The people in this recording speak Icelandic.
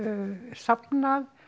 safnað